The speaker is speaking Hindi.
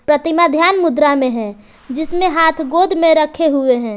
प्रतिमा ध्यान मुद्रा में हैं जिसमे हाथ गोद में रखे हुए हैं।